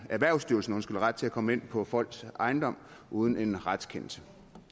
erhvervsstyrelsen ret til at komme ind på folks ejendom uden en retskendelse